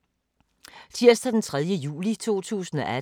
Tirsdag d. 3. juli 2018